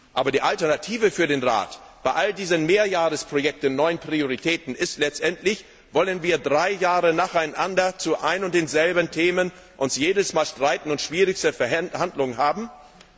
Aber die Alternative für den Rat bei all diesen Mehrjahresprojekten und neuen Prioritäten ist letztendlich Wollen wir uns drei Jahre nacheinander zu ein und denselben Themen jedes Mal streiten und schwierigste Verhandlungen führen?